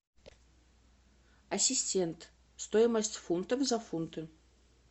ассистент стоимость фунтов за фунты